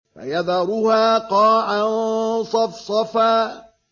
فَيَذَرُهَا قَاعًا صَفْصَفًا